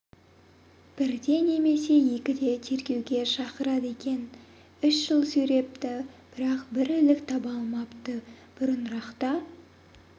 бірде немесе екіде тергеуге шақырады екен үш жыл сүйрепті бірақ бір ілік таба алмапты бұрынырақта